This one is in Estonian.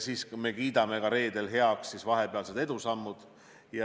Me kiidame reedel heaks vahepealsed edusammud.